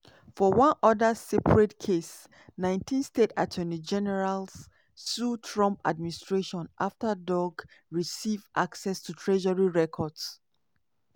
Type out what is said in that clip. for one oda separate case 19 state attorney generals sue trump administration afta doge receive access to treasury records.